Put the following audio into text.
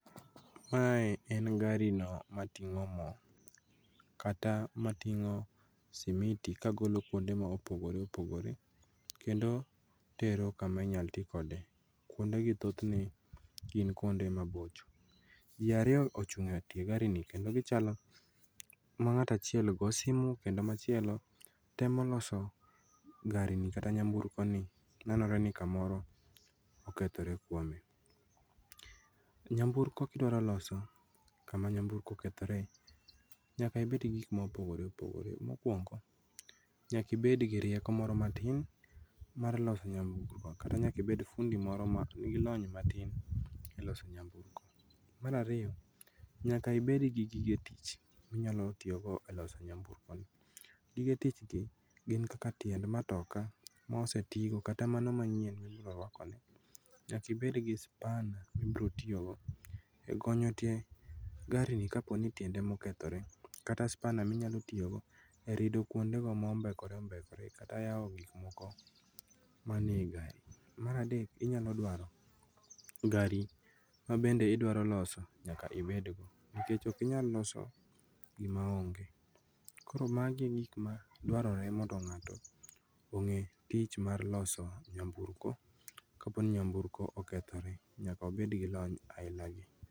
Mae en gari no mating'o moo kata mating'o simiti kagolo kuonde maopogore opogore kendo tero kama inyaltikode. Kuondegi thothne gin kuonde mabocho. Jii ariyo ochung'e tie gari ni kendo gichalo mang'ato achiel goo simu kendo machielo temo loso gari ni kata nyamburkoni ,nenore ni kamoro okethore kuome. Nyamburko kidwaro loso kama nyamburko okethore nyaka ibedgi gik mopogore opogore .Mokuongo nyakibedgi rieko moro matin mar loso nyamburko kata nyakibed fundi moro ma nigi lony matin e loso nyamburko. Mar ariyo nyaka ibedgi gige tich minyalotiyogo e loso nyamburkono. Gige tich gi gin kaka tiend matokaa mosetigo kata mano manyien mibroruakone. Nyaka ibedgi spanner mibrotoyogo e gonyo tie gari ni kaponi tiende emokethore kata spanner minyatiyogo e rido kuondego mombekore ombekore kata yao gik moko manie ii gari. Mar adek inyalodwaro gari mabende idwaro loso nyaka ibedgo nikech okinyaloso gimaonge. Koro magi e gik madwarore mondo ng'ato ong'e tich mar loso nyamburko kaponi nyamburko okethore nyaka obedgi lony ailagi.